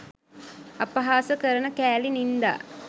අපහාස කරන කෑලි නින්දා